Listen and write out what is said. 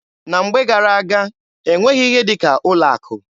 Na mgbe gara-aga, e nweghị ihe dị ka ụlọ akụ.